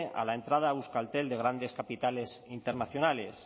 a la entrada a euskaltel de grandes capitales internacionales